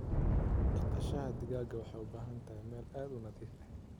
Dhaqashada digaaga waxay u baahan tahay meel aad u nadiif ah.